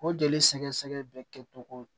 O jeli sɛgɛ sɛgɛ bɛ kɛ cogo